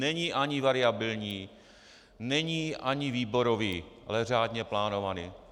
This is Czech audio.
Není ani variabilní, není ani výborový, ale řádně plánovaný.